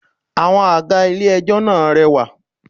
5. Àwọn àga ilé ẹjọ́ náà rẹwà.